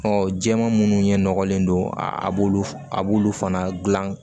jɛman munnu ɲɛ nɔgɔlen don a b'olu a b'olu fana gilan